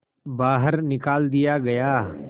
बाहर निकाल दिया गया